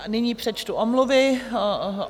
Nyní přečtu omluvy.